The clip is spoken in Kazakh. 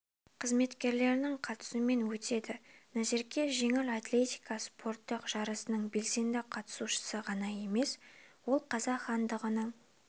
қызметкерлерінің қатысуымен өтеді назерке жеңіл атлетика спорттық жарысының белсенді қатысушысы ғана емес ол қазақ хандығының